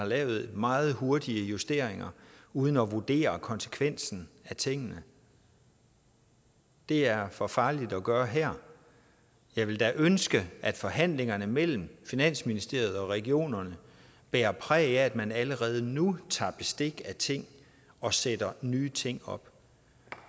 lave meget hurtige justeringer uden at vurdere konsekvensen af tingene det er for farligt at gøre her jeg ville da ønske at forhandlingerne mellem finansministeriet og regionerne bærer præg af at man allerede nu tager bestik af ting og sætter nye ting op